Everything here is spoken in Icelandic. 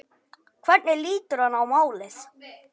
Hvernig lítur hann á málið?